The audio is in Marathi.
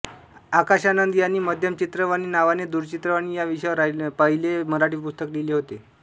आकाशानंद यांनी माध्यम चित्रवाणी नावाने दूरचित्रवाणी या विषयावर पहिले मराठी पुस्तक लिहिले होते